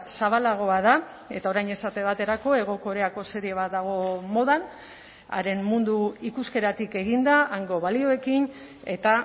zabalagoa da eta orain esate baterako hego koreako serie bat dago modan haren mundu ikuskeratik eginda hango balioekin eta